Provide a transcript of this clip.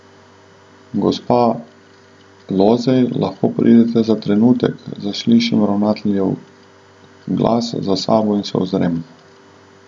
Gospa Lozej, lahko pridete za trenutek, zaslišim ravnateljev glas za sabo in se ozrem.